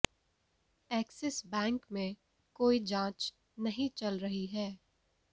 axis bank में कोई जांच नहीं चल रही है